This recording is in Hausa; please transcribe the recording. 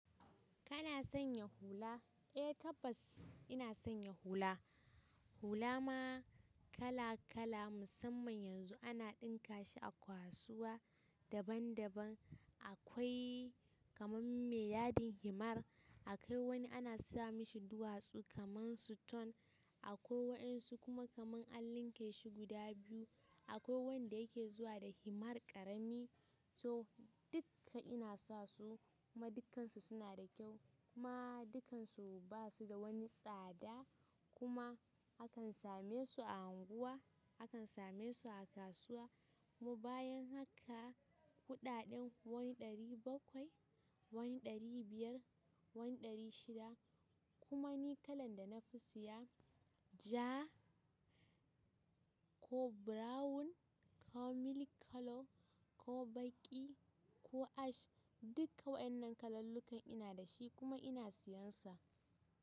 Kana sanya hula? Eh tabbas ina sanya hula. Hula ma kala kala musamman yanzu ana ɗinka shi a kasuwa daban daban. Akwai kamar me yadin himar, akwai wani ana sa mashi duwatsu kamar suton, akwai waɗansu kuma kamar an linke su guda biyu, akwai wanda yake zuwa da himar ƙarami. To dukka ina sa su kuma dukkansu suna da kyau kuma dukkansu basu da wani tsada kuma akan same su a unguwa, akan same su a kasuwa kuma bayan haka kuɗaɗen wani ɗari bakwai, wani ɗari biyar, wani ɗari shida kuma ni kalan da na fi siya ja ko brown, ko milk colour, ko baƙi ko ash dukka wa'yanannan kalallukan ina da shi kuma ina siyansa.